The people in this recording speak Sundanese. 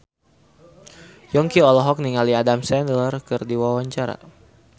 Yongki olohok ningali Adam Sandler keur diwawancara